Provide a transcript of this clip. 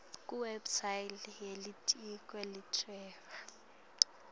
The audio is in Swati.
kuwebsite yelitiko letekuhweba